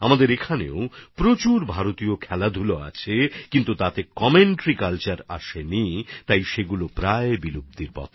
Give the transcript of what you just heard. আমাদের এখানে অনেক ভারতীয় খেলা আছে যেগুলোর ক্ষেত্রে কমেন্টারি কালচার না আসার ফলে এইসব লুপ্ত হয়ে যাওয়ার মত অবস্থায়